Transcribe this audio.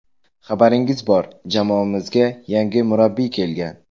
Xabaringiz bor, jamoamizga yangi murabbiy kelgan.